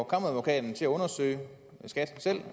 kammeradvokaten til at undersøge skat selv